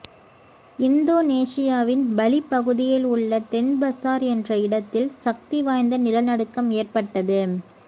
இந்தோனேசியாவின் பலி பகுதியில் உள்ள டென்பசார் என்ற இடத்தில் சக்திவாய்ந்த நிலநடுக்கம் ஏற்பட்டது